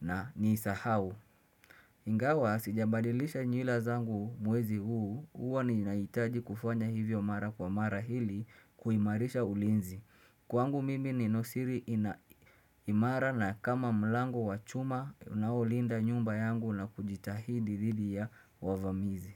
na nisahau. Ingawa, sijabadilisha nyila zangu mwezi huu, huwa ni na itaji kufanya hivyo mara kwa mara hili kuimarisha ulinzi. Kwangu mimi ni Nosiri imara na kama mlangu wachuma unaolinda nyumba yangu na kujitahidi lidi ya wavamizi.